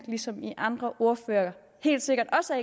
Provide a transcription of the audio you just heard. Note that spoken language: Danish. ligesom de andre ordførere helt sikkert også